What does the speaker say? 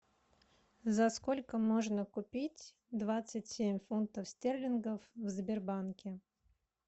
за сколько можно купить двадцать семь фунтов стерлингов в сбербанке